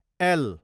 L